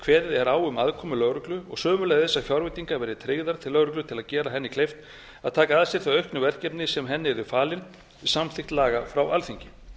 kveðið er á um aðkomu lögreglu og sömuleiðis að fjárveitingar verði tryggðar til lögreglu til að gera henni kleift að taka að sér þau auknu verkefni sem henni yrðu falin við samþykkt laga frá alþingi